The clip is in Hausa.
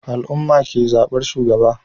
Al'ummah ke zabar shugaba